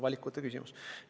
Valikute küsimus.